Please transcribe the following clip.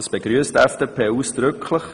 Dies begrüsst die FDP ausdrücklich.